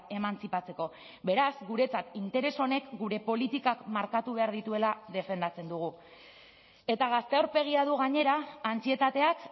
emantzipatzeko beraz guretzat interes honek gure politikak markatu behar dituela defendatzen dugu eta gazte aurpegia du gainera antsietateak